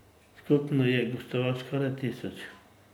Skupno je gostov skoraj tisoč.